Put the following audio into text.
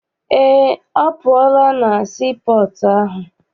Eé, ọ pụọla na sii pọọtụ ahụ.